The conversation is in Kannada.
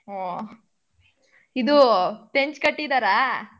ಓ. ಇದು ಕಟ್ಟಿದಾರ?